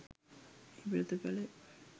එහි ප්‍රතිඵලය